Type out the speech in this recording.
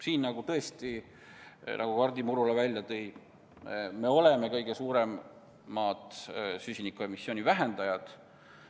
Siin me tõesti, nagu Hardi Murula välja tõi, oleme kõige suuremad süsiniku emissiooni vähendajad.